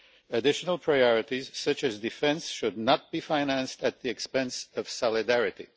Additional priorities, such as defence, should not be financed at the expense of solidarity.